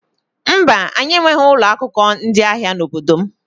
Mba, anyị enweghị ụlọ akụ ndị ahịa n'obodo m.